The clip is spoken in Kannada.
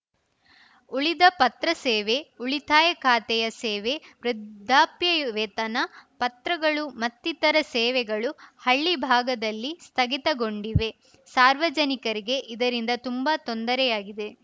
ಉಳಿದ ಪತ್ರ ಸೇವೆ ಉಳಿತಾಯ ಖಾತೆಯ ಸೇವೆ ವೃದ್ಧಾಪ್ಯ ವೇತನ ಪತ್ರಗಳು ಮತ್ತಿತರ ಸೇವೆಗಳು ಹಳ್ಳಿ ಭಾಗದಲ್ಲಿ ಸ್ಥಗಿತಗೊಂಡಿವೆ ಸಾರ್ವಜನಿಕರಿಗೆ ಇದರಿಂದ ತುಂಬಾ ತೊಂದರೆಯಾಗಿದೆ